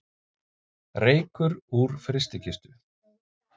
Reykur úr frystikistu